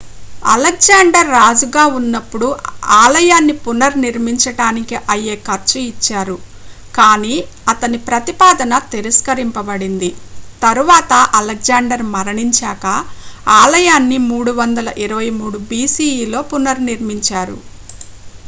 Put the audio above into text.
Alexander రాజుగా ఉన్నప్పుడు ఆలయాన్ని పునర్నిర్మించడానికి అయ్యే ఖర్చు ఇచ్చారు కానీ అతని ప్రతిపాదన తిరస్కరించబడింది తరువాత అలెగ్జాండర్ మరణించాకా ఆలయాన్ని 323 బిసిఇలో పునర్నిర్మించారు